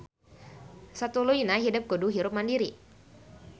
Satuluyna hidep kudu hirup mandiri